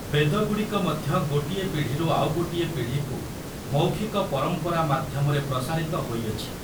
ବେଦଗୁଡ଼ିକ ମଧ୍ୟ ଗୋଟିଏ ପିଢ଼ିରୁ ଆଉ ଗୋଟିଏ ପିଢ଼ିକୁ ମୌଖିକ ପରମ୍ପରା ମାଧ୍ୟମରେ ପ୍ରସାରିତ ହୋଇଅଛି ।